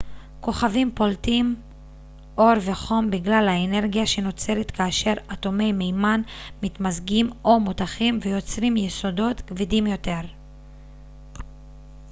כוכבים פולטים אור וחום בגלל האנרגיה שנוצרת כאשר אטומי מימן מתמזגים או מותכים ויוצרים יסודות כבדים יותר